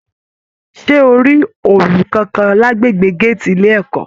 Ṣe o rí ọọlú kánkán l'agbègbè gàátí ilé ẹ̀kọ́?